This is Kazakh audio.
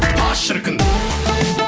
па шіркін